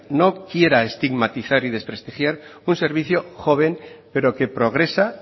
no quiera estigmatizar y desprestigiar un servicio joven pero que progresa